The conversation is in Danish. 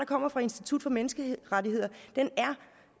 kommer fra institut for menneskerettigheder er